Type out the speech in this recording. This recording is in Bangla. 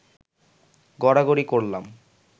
গড়াগড়ি করলাম